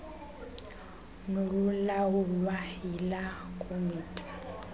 nolulawulwa yila komiti